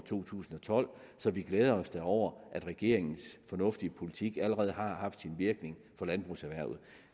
to tusind og tolv så vi glæder os da over at regeringens fornuftige politik allerede har haft virkning for landbrugserhvervet